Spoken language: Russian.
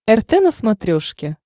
рт на смотрешке